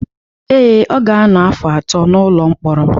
Ee, ọ ga-anọ afọ atọ n’ụlọ mkpọrọ